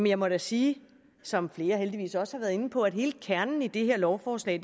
jeg må da sige som flere heldigvis også har været inde på at hele kernen i det her lovforslag